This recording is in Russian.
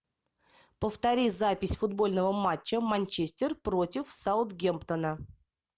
повтори запись футбольного матча манчестер против саутгемптона